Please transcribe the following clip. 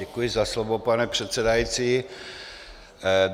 Děkuji za slovo, pane předsedající.